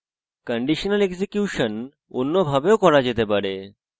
conditional execution অন্যভাবে way করা যেতে পারে